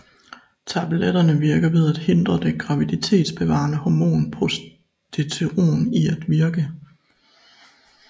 Tabletterne virker ved at hindre det graviditetsbevarende hormon progesteron i at virke